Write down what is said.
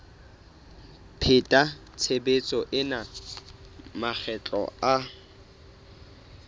pheta tshebetso ena makgetlo a